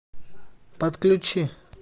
подключи